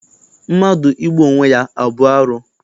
Mmadụ igbu onwe ya abụ arụ?